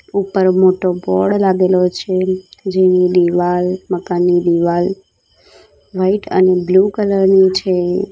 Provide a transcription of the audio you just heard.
ઉપર મોટો બોર્ડ લાગેલો છે જેની દિવાલ મકાનની દિવાલ વ્હાઇટ અને બ્લુ કલર ની છે.